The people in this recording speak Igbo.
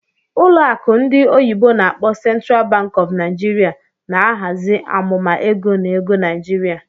Ụlọ akụ ndị oyibo n'akpọ "Central Bank of Nigeria na-ahazi amụma ego na ego Naijiria.